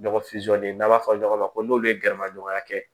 Ɲɔgɔn fitinin n'an b'a fɔ ɲɔgɔn ma ko n'olu ye gɛrɛ maɲɔgɔnya kɛ